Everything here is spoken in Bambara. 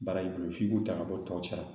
Baara in bolo f'i k'u ta ka bɔ tɔ cɛ sara